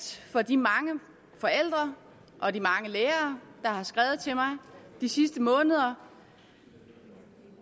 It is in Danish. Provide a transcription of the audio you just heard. for de mange forældre og de mange lærere der har skrevet til mig de sidste måneder